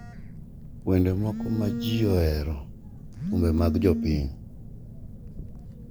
Wende moko ma ji ohero thumbe mag jopiny.